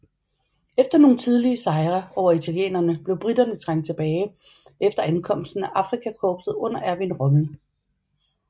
Efter nogle tidlige sejre over italienerne blev briterne trængt tilbage efter ankomsten af Afrikakorpset under Erwin Rommel